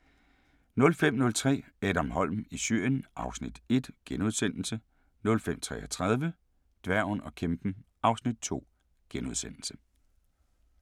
05:03: Adam Holm i Syrien (Afs. 1)* 05:33: Dværgen og kæmpen (Afs. 2)*